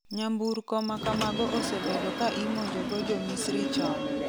nyamburko makamago osebedo ka imonjo go jo Misri chon